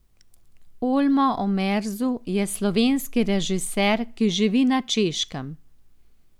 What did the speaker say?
Olmo Omerzu je slovenski režiser, ki živi na Češkem.